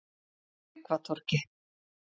Tryggvatorgi